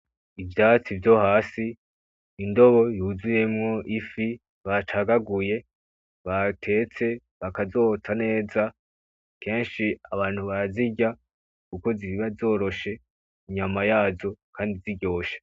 Ivyatsi vyo hasi ,indobo yuzuyemwo ifi bacagaguye ,batetse ,bakazotsa neza, kenshi abantu barazirya Kuko ziba zoroshe inyana yazo kandi ziryoshe.